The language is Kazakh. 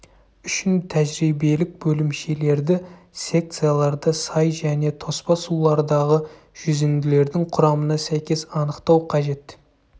үшін тәжірибелік бөлімшелерді секцияларды сай және тоспа сулардағы жүзінділердің құрамына сәйкес анықтау қажет